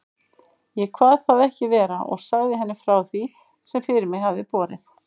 Ég kvað það ekki vera og sagði henni frá því, sem fyrir mig hafði borið.